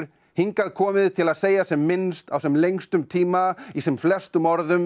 hingað komið til að segja sem minnst á sem lengstum tíma í sem flestum orðum